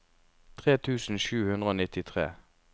tre tusen sju hundre og nittitre